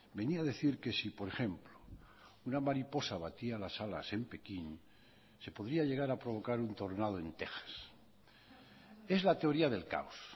venía a decir que si por ejemplo una mariposa batía las alas en pekín se podría llegar a provocar un tornado en texas es la teoría del caos